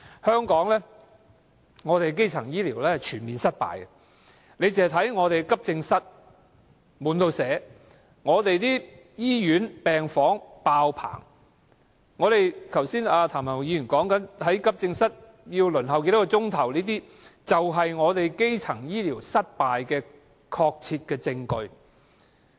香港的基層醫療是全面失敗的，看看我們的急症室經常"滿瀉"，我們的醫院病房"爆棚"，剛才譚文豪議員提到在急症室要輪候多少小時，便是香港基層醫療失敗的確切證據。